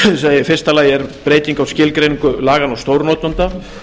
í fyrsta lagi er breyting á skilgreiningu laganna á stórnotanda